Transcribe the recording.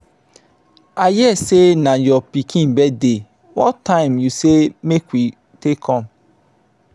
i hear say na your pikin birthday what time you say make we take come?